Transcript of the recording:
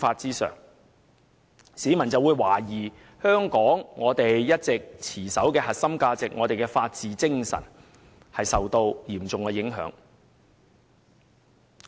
市民可能會懷疑，香港一直持守的核心價值和法治精神已受到嚴重影響。